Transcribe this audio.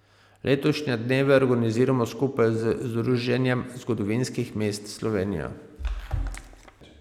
Letošnje dneve organiziramo skupaj z Združenjem zgodovinskih mest Slovenije.